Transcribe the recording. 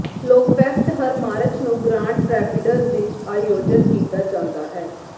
Laughfest ਹਰ March ਨੂੰ Grand Rapids ਵਿਚ ਆਯੋਜਤ ਕੀਤਾ ਜਾਂਦਾ ਹੈ